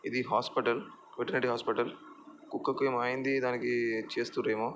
ఇది hospital veterinary hospital కుక్కకి ఏమో అయ్యింది దానికి చేస్తుర్రు ఏమో